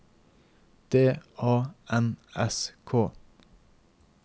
D A N S K